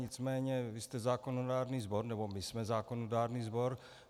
Nicméně vy jste zákonodárný sbor, nebo my jsme zákonodárný sbor.